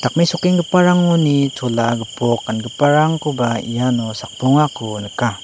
mesokenggiparangoni chola gipok gangiparangkoba iano sakbongako nika.